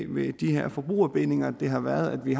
ved de her forbrugerbindinger har været at vi